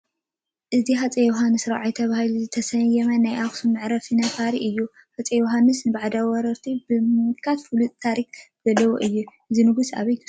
እዚ ሃፀይ ዮሃንስ ራብዓይ ተባሂሉ ዝተሰየመ ናይ ኣኽሱም መዕርፎ ነፈርቲ እዩ፡፡ ሃፀይ ዮሃንስ ንባዕዳውያን ወረርቲ ብምምካት ፍሉጥ ታሪክ ዘለዎም እዮም፡፡ እዞም ንጉስ ኣበይ ተሰዊኦም?